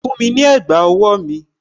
Fún mi ní ẹ̀gbà owó mi!